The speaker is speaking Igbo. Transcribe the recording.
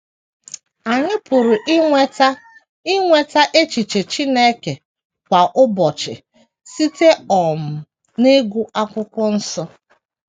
Anyị pụrụ inweta inweta echiche Chineke kwa ụbọchị site um n’ịgụ Akwụkwọ Nsọ.